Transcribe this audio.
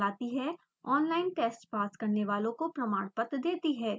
online test pass करने वालों को प्रमाणपत्र देती है